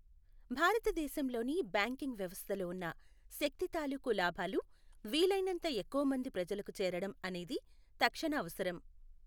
భారతదేశం లోని బ్యాంకింగ్ వ్యవస్థలో ఉన్న శక్తి తాలూకు లాభాలు వీలైనంత ఎక్కువ మంది ప్రజలకు చేరడం అనేది తక్షణ అవసరం